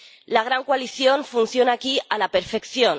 La gran coalición funciona aquí a la perfección.